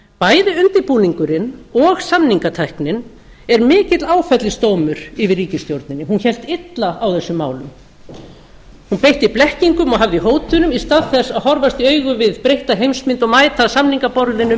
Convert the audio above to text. bæði undirbúningurinn og samningatæknin er mikill áfellisdómur yfir ríkisstjórninni hún hélt illa á þessum málum hún beitti blekkingum og hafði í hótunum í stað þess að horfast í augu við breytta heimsmynd og mæta að samningaborðinu